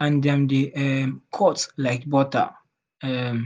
and dem dey um cut like butter. um